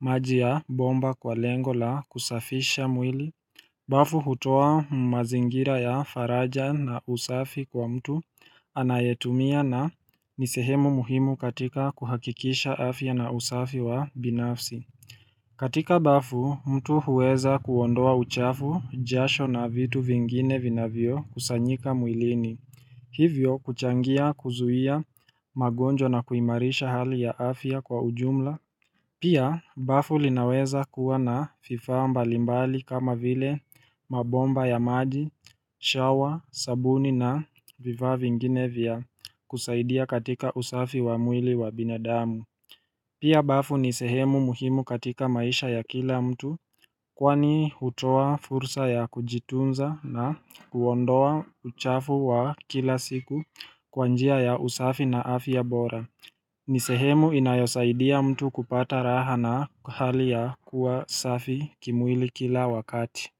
maji ya bomba kwa lengo la kusafisha mwili. Bafu hutoa umazingira ya faraja na usafi kwa mtu anayetumia na nisehemu muhimu katika kuhakikisha afya na usafi wa binafsi. Katika bafu, mtu huweza kuondoa uchafu, jasho na vitu vingine vina vio kusanyika mwilini. Hivyo kuchangia kuzuia magonjwa na kuimarisha hali ya afia kwa ujumla. Pia bafu linaweza kuwa na vifaa mbalimbali kama vile mabomba ya maji, shawa, sabuni na viva vingine vya kusaidia katika usafi wa mwili wa binadamu. Pia bafu ni sehemu muhimu katika maisha ya kila mtu. Kwani hutoa fursa ya kujitunza na kuondoa uchafu wa kila siku kwanjia ya usafi na afya bora. Ni sehemu inayosaidia mtu kupata raha na hali ya kuwa safi kimwili kila wakati.